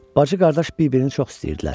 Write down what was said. Bacı-qardaş bir-birini çox istəyirdilər.